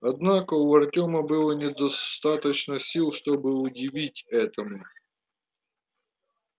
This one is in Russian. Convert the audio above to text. однако у артема было недостаточно сил чтобы удивиться этому